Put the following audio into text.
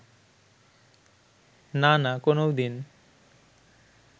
নানা কোনওদিন